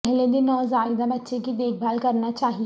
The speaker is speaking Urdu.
پہلے دن نوزائیدہ بچے کی دیکھ بھال کرنا چاہئے